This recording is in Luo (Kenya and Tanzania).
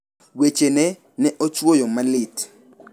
Wechene ne ochwoya malit.